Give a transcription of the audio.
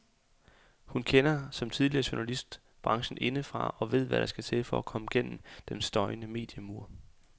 Hun kender, som tidligere journalist, branchen indefra og ved hvad der skal til for at komme gennem den støjende mediemur.